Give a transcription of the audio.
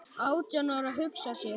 Átján ára, hugsa sér!